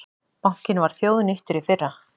Bankinn var þjóðnýttur í fyrra